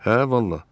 Hə vallah!